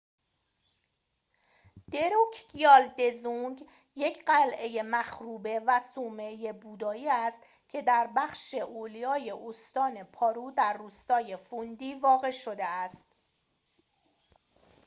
دروکگیال دزونگ یک قلعه مخروبه و صومعه بودایی است که در بخش اولیای استان پارو در روستای فوندی واقع شده است